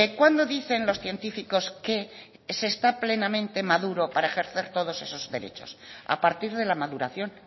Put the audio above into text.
cuándo dicen los científicos que se está plenamente maduro para ejercer todos esos derechos a partir de la maduración